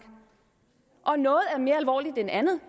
og noget er mere alvorligt end andet